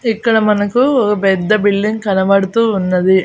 ఇక్కడ మనకు పెద్ద బిల్డింగ్ కనబడుతూ ఉన్నది.